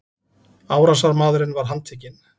Árásarmaðurinn var handtekinn